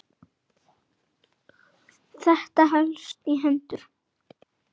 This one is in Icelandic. Þetta helst í hendur.